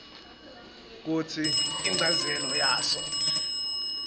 kutsi inchazelo yaso